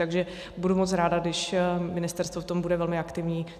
Takže budu moc ráda, když ministerstvo v tom bude velmi aktivní.